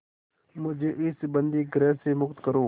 मुझे इस बंदीगृह से मुक्त करो